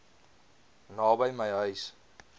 naby my huis